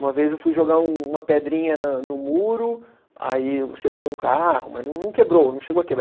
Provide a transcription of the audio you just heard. Uma vez eu fui jogar um uma pedrinha na no muro, acertei um carro, mas não quebrou, não chegou a quebrar.